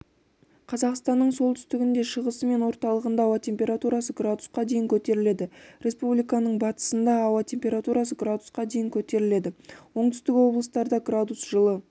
қазақстанның солтүстігінде шығысы мен орталығында ауа температурасы градусқа дейін көтеріледі республиканың батысында ауа температурасы градусқа дейін көтеріледі оңтүстік облыстарда градус жылы